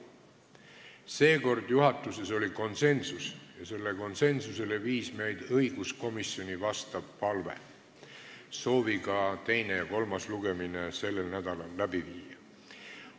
Seekord oli juhatuses konsensus, milleni viis meid õiguskomisjoni palve teine ja kolmas lugemine sellel nädalal läbi viia.